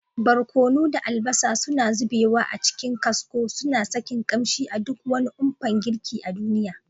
Barkono da albasa suna zubewa a cikin kasko, suna sakin ƙamshi a duk wani umpan girki a duniya.